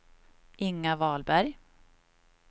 Inga Wahlberg